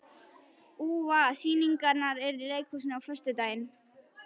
Úa, hvaða sýningar eru í leikhúsinu á föstudaginn?